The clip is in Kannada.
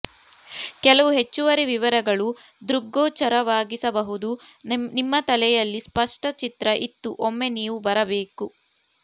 ಕೆಲವು ಹೆಚ್ಚುವರಿ ವಿವರಗಳು ದೃಗ್ಗೋಚರವಾಗಿಸಬಹುದು ನಿಮ್ಮ ತಲೆಯಲ್ಲಿ ಸ್ಪಷ್ಟ ಚಿತ್ರ ಇತ್ತು ಒಮ್ಮೆ ನೀವು ಬರಬೇಕು